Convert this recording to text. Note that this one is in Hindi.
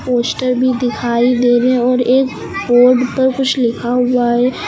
पोस्टर भी दिखाई दे रहे हैं और एक बोर्ड पर कुछ लिखा हुआ है।